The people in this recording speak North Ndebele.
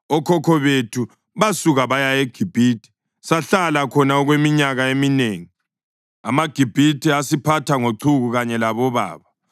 Okhokho bethu basuka baya eGibhithe, sahlala khona okweminyaka eminengi. AmaGibhithe asiphatha ngochuku kanye labobaba,